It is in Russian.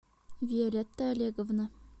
виолетта олеговна